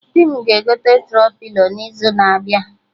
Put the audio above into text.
Di m ga-egote Tro-pilo n'izu na-abịa